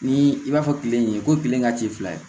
Ni i b'a fɔ kile in ye ko tile ka teli fila ye